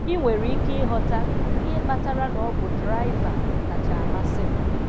Ị nwere ike ịghọta ihe kpatara na ọ bụ draịva kacha amasị m.